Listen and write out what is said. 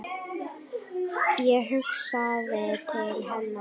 Ég hugsaði til hennar.